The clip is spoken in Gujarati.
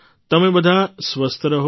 તમે બધા સ્વસ્થ રહો